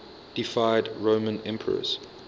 deified roman emperors